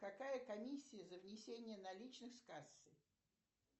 какая комиссия за внесение наличных с кассы